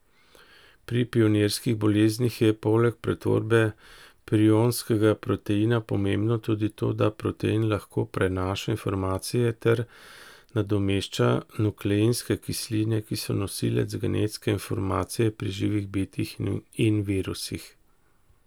Pri prionskih boleznih je poleg pretvorbe prionskega proteina pomembno tudi to, da protein lahko prenaša informacije ter nadomešča nukleinske kisline, ki so nosilec genetske informacije pri živih bitjih in virusih.